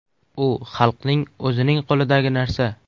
U xalqning o‘zining qo‘lidagi narsa.